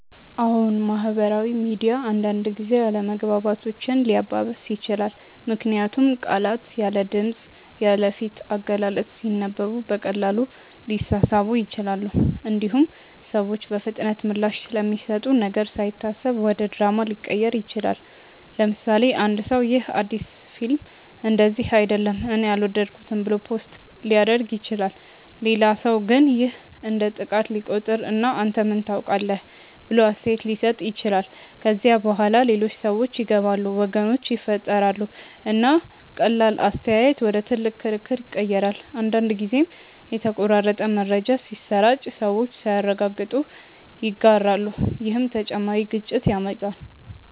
አዎን፣ ማህበራዊ ሚዲያ አንዳንድ ጊዜ አለመግባባቶችን ሊያባብስ ይችላል። ምክንያቱም ቃላት ያለ ድምፅ፣ ያለ ፊት አገላለጽ ሲነበቡ በቀላሉ ሊሳሳቡ ይችላሉ። እንዲሁም ሰዎች በፍጥነት ምላሽ ስለሚሰጡ ነገር ሳይታሰብ ወደ ድራማ ሊቀየር ይችላል። ለምሳሌ፣ አንድ ሰው “ይህ አዲስ ፊልም እንደዚህ አይደለም እኔ አልወደድኩትም” ብሎ ፖስት ሊያደርግ ይችላል። ሌላ ሰው ግን ይህን እንደ ጥቃት ሊቆጥር እና “አንተ ምን ታውቃለህ?” ብሎ አስተያየት ሊሰጥ ይችላል። ከዚያ በኋላ ሌሎች ሰዎች ይገባሉ፣ ወገኖች ይፈጠራሉ፣ እና ቀላል አስተያየት ወደ ትልቅ ክርክር ይቀየራል። አንዳንድ ጊዜም የተቆራረጠ መረጃ ሲሰራጭ ሰዎች ሳያረጋግጡ ይጋራሉ፣ ይህም ተጨማሪ ግጭት ያመጣል።